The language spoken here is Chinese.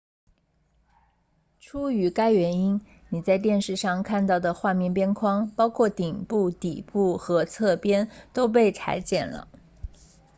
出于该原因你在电视上看到的画面边框包括顶部底部和侧边都被裁剪了